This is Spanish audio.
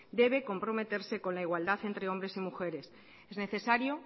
debe comprometerse con la igualdad entre hombres y mujeres es necesario